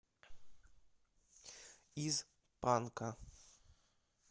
из панка